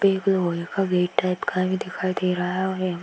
एक लोहे का गेट टाइप का भी दिखाई दे रहा है और यहां --